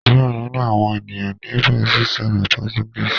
Diẹ ninu awọn eniyan ni Brazil sọrọ Portuguese